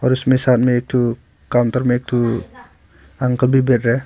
और उसमें सामने एक ठो काउंटर में एक ठो अंकल भी बैठे है।